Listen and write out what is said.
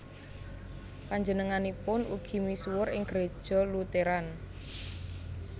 Panjenenganipun ugi misuwur ing Gereja Lutheran